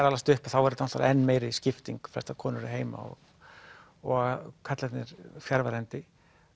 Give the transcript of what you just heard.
alast upp er þetta enn meiri skipting konurnar heima og karlarnir fjarverandi